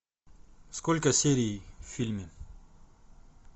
сколько серий в фильме